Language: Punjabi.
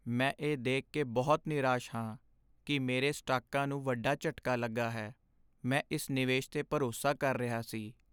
ਮੈਂ ਇਹ ਦੇਖ ਕੇ ਬਹੁਤ ਨਿਰਾਸ਼ ਹਾਂ ਕਿ ਮੇਰੇ ਸਟਾਕਾਂ ਨੂੰ ਵੱਡਾ ਝਟਕਾ ਲੱਗਾ ਹੈ। ਮੈਂ ਇਸ ਨਿਵੇਸ਼ 'ਤੇ ਭਰੋਸਾ ਕਰ ਰਿਹਾ ਸੀ।